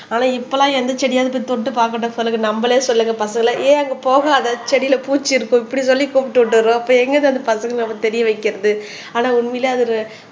ஆனா இப்ப எல்லாம் எந்த செடியாவது போய் தொட்டு பார்க்கட்டும் சொல்லுங்க நம்மளே சொல்லுங்க பசங்களை ஏன் அங்க போகாத செடியில பூச்சி இருக்கும் இப்படி சொல்லி கூப்பிட்டு விட்டுடுறோம் அப்ப எங்க இருந்து அந்த பசங்களை தெரிய வைக்கிறது ஆனா உண்மையிலே அது ஒரு